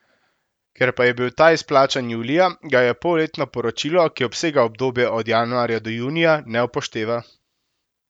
Ker pa je bil ta izplačan julija, ga polletno poročilo, ki obsega obdobje od januarja do junija, ne upošteva.